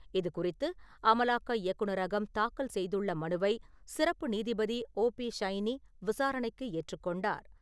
இது குறித்து அமலாக்க இயக்குனரகம் தாக்கல் செய்துள்ள மனுவை சிறப்பு நீதிபதி ஓ பி ஷைனி விசாரணைக்கு ஏற்றுக் கொண்டார்.